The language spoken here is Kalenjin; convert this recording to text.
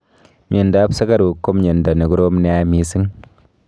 Mnyondop sugaruk ko mnyando nekorom nea mising